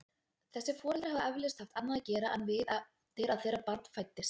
Þessir foreldrar hafa eflaust haft annað að gera en við eftir að þeirra barn fæddist.